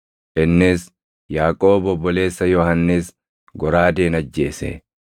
Innis Yaaqoob obboleessa Yohannis goraadeen ajjeese.